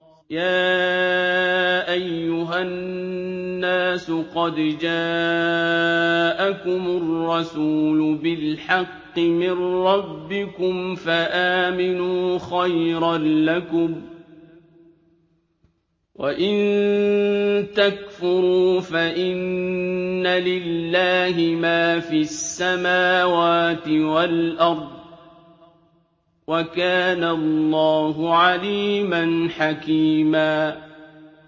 يَا أَيُّهَا النَّاسُ قَدْ جَاءَكُمُ الرَّسُولُ بِالْحَقِّ مِن رَّبِّكُمْ فَآمِنُوا خَيْرًا لَّكُمْ ۚ وَإِن تَكْفُرُوا فَإِنَّ لِلَّهِ مَا فِي السَّمَاوَاتِ وَالْأَرْضِ ۚ وَكَانَ اللَّهُ عَلِيمًا حَكِيمًا